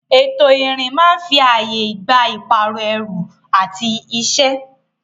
Ètò ìrìn máa ń fi ààyè gba ìpààrọ̀ ẹrù àti iṣẹ́.